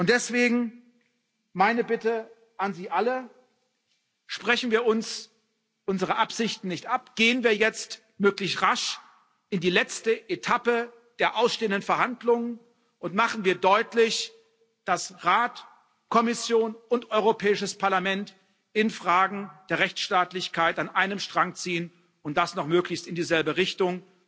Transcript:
Deswegen meine Bitte an Sie alle Sprechen wir uns unsere Absichten nicht ab! Gehen wir jetzt möglich rasch in die letzte Etappe der ausstehenden Verhandlungen und machen wir deutlich, dass Rat, Kommission und Europäisches Parlament in Fragen der Rechtsstaatlichkeit an einem Strang ziehen und das noch möglichst in dieselbe Richtung!